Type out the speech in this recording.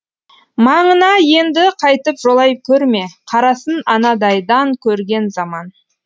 маңына енді қайтып жолай көрме қарасын анадайдан көрген заман